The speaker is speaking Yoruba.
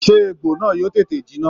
Sé egbò náà yóò tètè jinná?